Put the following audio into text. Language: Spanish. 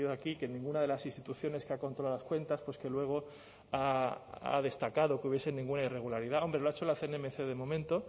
aquí que en ninguna de las instituciones que ha controlado las cuentas pues que luego ha destacado que hubiese ninguna irregularidad hombre lo ha hecho la cnmc de momento